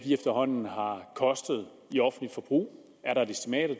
efterhånden har kostet i offentligt forbrug er der et estimat af